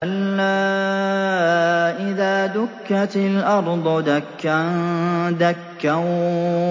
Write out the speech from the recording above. كَلَّا إِذَا دُكَّتِ الْأَرْضُ دَكًّا دَكًّا